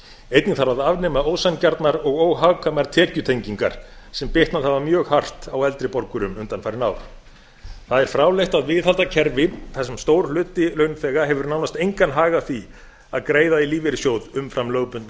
einnig þarf að afnema ósanngjarnar og óhagkvæmar tekjutengingar sem bitnað hafa mjög hart á eldri borgurum undanfarin ár það er fráleitt að viðhalda kerfi þar sem stór hluti launþega hefur nánast engan hag af því að greiða í lífeyrissjóð umfram lögbundna